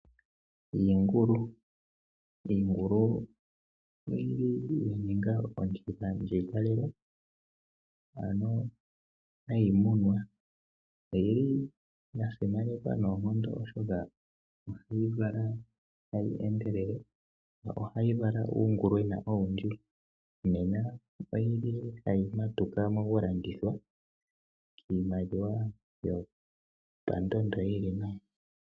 Iingulu Iingulu ohayi munwa noya simanekwa noonkondo oshoka ohayi vala tayi endelele. Ohayi vala uungulwena owundji nena oyi li tayi matuka mokulandithwa iimaliwa yopandondo yi li nawa.